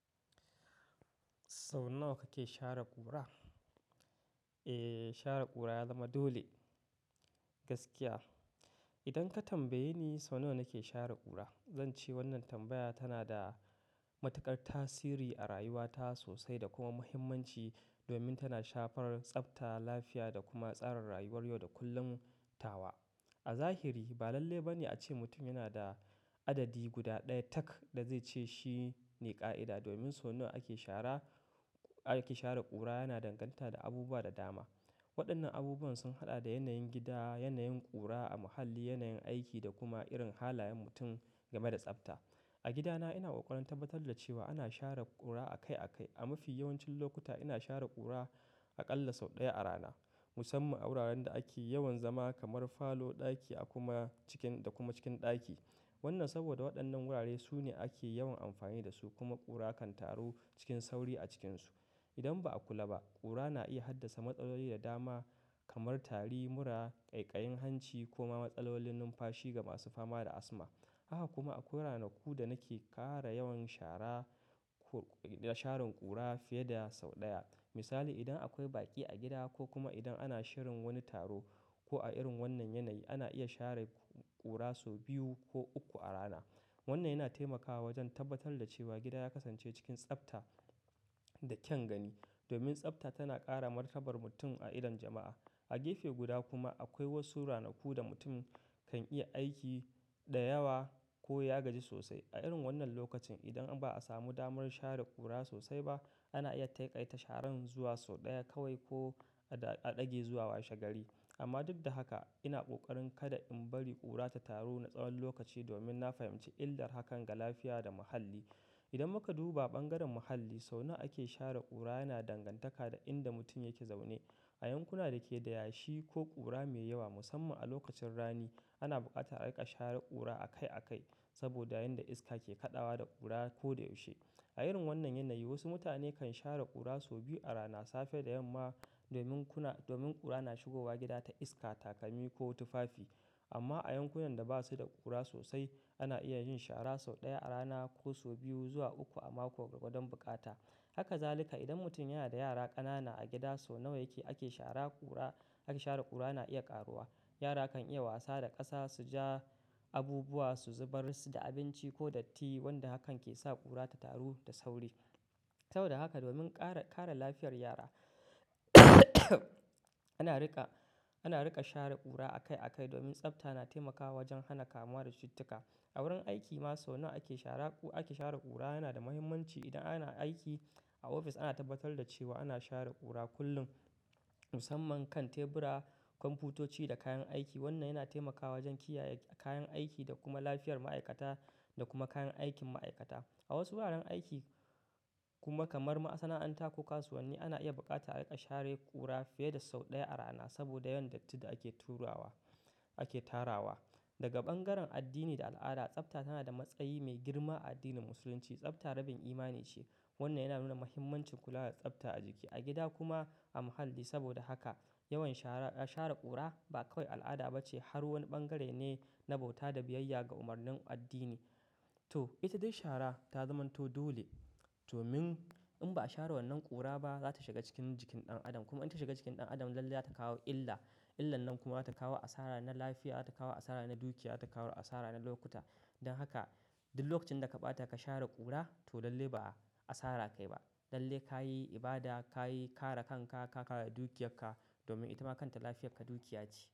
Sau nawa kake share ƙura? E, share ƙura ya zama dole. Gaskiya. Idan ka tambaye ni sau nawa nake share ƙura, zan ce wannan tambaya tana da matuƙar tasiri a rayuwata sosai da kuma muhimmanci domin tana shafar tsafta, lafiya da kuma tsarin rayuwar yau da kullum tawa. A zahiri ba lalle ba ne a ce mutum yana da adadi guda ɗaya tak da zai ce shi ne ƙa'ida domin sau nawa ake shara, ake share ƙura yana danganta da abubuwa da dama. Waɗannan abubuwan sun haɗa da yanayin gida, yanayin ƙura a muhalli, yanayin aiki da kuma irin halayen mutum game da tsafta. A gidana ina ƙoƙarin tabbatar da cewa ana share ƙura akai akai. A mafi yawancin lokuta ina share ƙura aƙalla sau ɗaya a rana. Musamman a wuraren da ake yawan zama kamar falo, ɗaki a kuma cikin, da kuma cikin ɗaki. Wannan saboda waɗannan wurare su ne ake yawan amfani da su kuma ƙura kan taru cikin sauri a cikinsu. Idan ba a kula ba, ƙura na iya haddasa matsaloli da dama kamar tari, mura, ƙaiƙayin hanci kuma matsalolin numfashi ga masu fama da asma. Haka kuma akwai ranaku da nake ƙara yawan shara, da sharin ƙura fiye da sau ɗaya. Misali, idan akwai baƙi a gida ko kuma idan ana shirin wani taro ko a irin wannan yanayi, ana iya share ƙura sau biyu ko uku a rana. Wannan yana taimakawa wajen tabbatar da cewa gida ya kasance cikin tsafta da kyan gani. Domin tsafta tana ƙara martabar mutum a irin jama'a. A gefe guda kuma akwai wasu ranaku da mutum kan iya aiki da yawa ko ya gaji sosai. A irin wannan lokacin idan ba a samu damar share ƙura sosai ba, ana iya taƙaita sharan zuwa sau ɗaya kawai ko a ɗage zuwa washegari. Amma duk da haka ina ƙoƙarin kada in bari ƙura ta taru na tsawon lokaci domin na fahimci illar hakan ga lafiya da muhalli. Idan muka duba ɓangaren muhalli, sau nawa ake share ƙura yana dangantaka da inda mutum yake zaune. A yankuna da ke da yashi ko ƙura mai yawa musamman a lokacin rani, ana buƙatar aika share ƙura akai akai saboda yanda iska ke kaɗawa da ƙura ko da yaushe. A irin wannan yanayi wasu mutane kan share ƙura sau biyu a rana safe da yamma domin kuna, domin ƙura na shigowa gida ta iska, takami ko tufafi. Amma a yankunan da ba su da ƙura sosai, ana iya yin shara sau ɗaya a rana ko sau biyu zuwa uku a mako gwargwadon buƙata. Haka zalika idan mutum yana da yara ƙanana a gida sau nawa yake ake shara ƙura, ake share ƙura na iya ƙaruwa. Yara kan iya wasa da ƙasa, su ja abubuwa, su zubar su da abinci ko datti wanda hakan ke sa ƙura ta taru da sauri. Saboda haka domin kare, kare lafiyar yara ana riƙa, ana riƙa share ƙura akai akai domin tsafta na taimakawa wajen hana kamuwa da cututtuka. A wurin aiki ma sau nawa ake shara, ake share ƙura yana da muhimmanci. Idan ana aiki a ofis ana tabbatar da cewa ana share ƙura kullum musamman kan tebura, kwamfutoci da kayan aiki. Wannan yana taimakawa wajen kiyaye kayan aiki da kuma lafiyar ma'aikata da kuma kayan aikin ma'aikata. A wasu wuraren aiki kuma kamar masana'anta ko kasuwanni ana iya buƙatar aika share ƙura fiye da sau ɗaya a rana saboda yawan dattin da ake turawa, ake tarawa. Daga ɓangaren addini da al'ada, tsafta tana da matsayi mai girma a addinin musulunci. Tsafta rabin imani ce. Wannan yana nuna muhimmancin kula da tsafta a jiki, a gida kuma a muhalli. Saboda haka yawan shara, share ƙura ba kawai al'ada bace har wani bangare ne na bauta da biyayya ga umarnin addini. To ita dai share ta zamanto dole domin in ba a share wannan ƙura ba za ta shiga cikin jikin ɗan adam kuma in ta shiga jikin ɗan adam lalle za ta kawo illa. Illan nan kuma za ta kawo asara na lafiya, za ta kawo asara na dukiya, za ta kawo asara na lokuta. Don haka duk lokacin da ka bata ka share kura. Lalle ka yi ibada, ka yi kare kanka, ka kare dukiyarka domin ita ma kanta lafiyar ka dukiya ce.